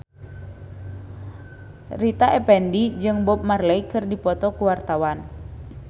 Rita Effendy jeung Bob Marley keur dipoto ku wartawan